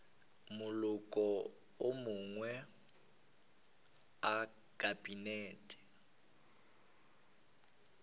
maloko a mangwe a kabinete